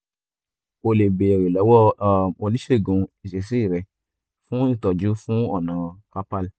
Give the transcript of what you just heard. o lè béèrè lọ́wọ́ um oníṣègùn ìṣesí rẹ fún ìtọ́jú fún ọ̀nà carpal